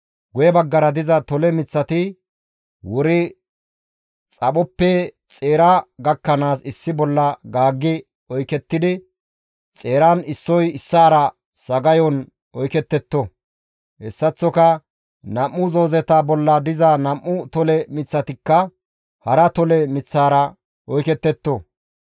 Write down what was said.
Guye baggara diza tole miththati wuri xaphoppe xeeraa gakkanaas issi bolla gaaggi oykettidi, xeeran issoy issaara sagayon oyketetto; hessaththoka nam7u zoozeta bolla diza nam7u tole miththatikka hara tole miththatara oyketetto.